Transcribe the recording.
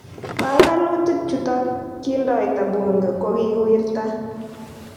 Panganutik chutok kiindoita bunge kokikiwirta